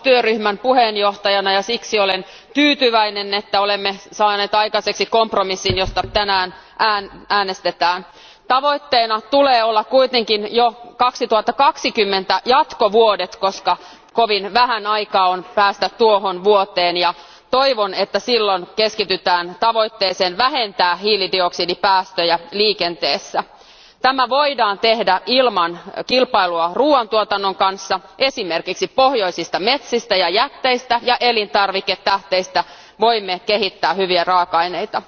Arvoisa puhemies, minulla on ilo toimia parlamentissa biotaloustyöryhmän puheenjohtajana ja siksi olen tyytyväinen, että olemme saaneet aikaiseksi kompromissin, josta tänään äänestetään. Tavoitteena tulee olla kuitenkin jo 2020 jatkovuodet, koska kovin vähän aikaa on päästä tuohon vuoteen. Toivon, että silloin keskitytään tavoitteeseen vähentää hiilidioksidipäästöjä liikenteessä. Tämä voidaan tehdä ilman kilpailua ruuantuotannon kanssa, sillä esimerkiksi pohjoisista metsistä ja jätteistä ja elintarviketähteistä voimme kehittää hyviä raaka aineita.